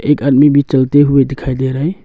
एक आदमी भी चलते हुए दिखाई दे रहा है।